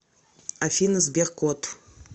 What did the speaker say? афина сбер кот